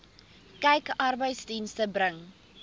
kyk arbeidsdienste bring